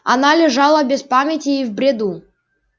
она лежала без памяти и в бреду